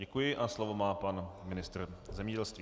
Děkuji a slovo má pan ministr zemědělství.